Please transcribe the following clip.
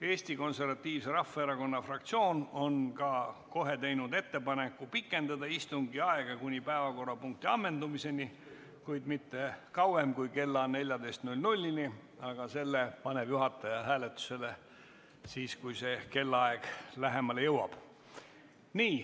Eesti Konservatiivse Rahvaerakonna fraktsioon on ka kohe teinud ettepaneku pikendada istungi aega kuni päevakorrapunkti ammendumiseni, kuid mitte kauem kui kella 14-ni, aga selle paneb juhataja hääletusele siis, kui see kellaaeg lähemale jõuab.